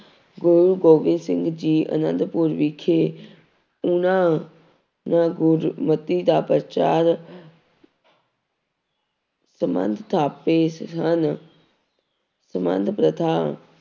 ਗੁਰੂ ਗੋਬਿੰਦ ਸਿੰਘ ਜੀ ਆਨੰਦਪੁਰ ਵਿਖੇ ਉਹਨਾਂ ਨਾਂ ਗੁਰਮਤੀ ਦਾ ਪ੍ਰਚਾਰ ਸੰਬੰਧ ਥਾਪੇ ਹਨ ਸਬੰਧ ਪ੍ਰਥਾ